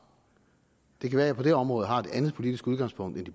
det kan være at jeg på det område har et andet politisk udgangspunkt end